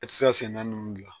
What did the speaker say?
I tɛ se ka sen naani ninnu dilan